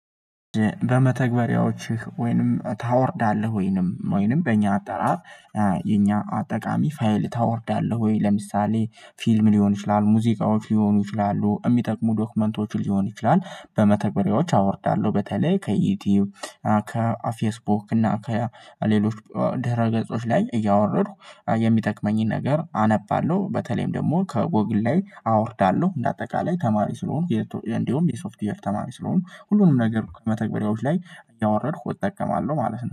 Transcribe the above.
በመተግበሪያዎችህ ወይንም ታወርዳለህ ወይንም ወይንም በእኛ አጠራር የኛ አጠቃሚ ፋይል ታወርዳለህ ወይ ለምሳሌ ፊልም ሊሆን ይችላል ሙዚቃዎች ሊሆኑ ይችላሉ የሚጠቅሙ ዶክመንቶች ሊሆን ይችላል። በመተግበሪያዎች አወርዳለሁ በተለይ ከዩቲዩብ ከፌስቡክ እና ከሌሎች ድህረ ገጾች ላይ እያወረድኩ የሚጠቅመኝን ነገር አነባለሁ በተለይም ደግሞ ከጎግል ላይ አወርዳለሁ። እንደ አጠቃላይ ተማሪ ስለሆኑ እንደውም የሶፍትዌር ተማሪ ስለሆኑ ሁሉንም ነገር ከመተግበሪያዎች ላይ እያወረድኩ እጠቀማለሁ ማለት ነው